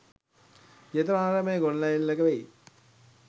ජේතවනාරාමයේ ගොඩනැඟිල්ලක වෙයි.